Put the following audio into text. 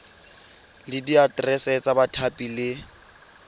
le diaterese tsa bathapi le